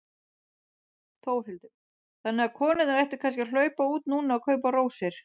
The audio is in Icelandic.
Þórhildur: Þannig að konurnar ættu kannski að hlaupa út núna og kaupa rósir?